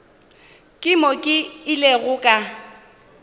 ke mo ke ilego ka